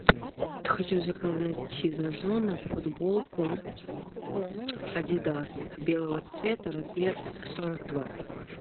хочу заказать из озона футболку адидас белого цвета размер сорок два